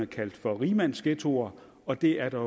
kaldt for rigmandsghettoer og det er der